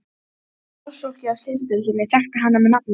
Starfsfólkið á Slysadeildinni þekkti hana með nafni.